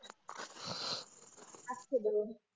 आजचे दिवस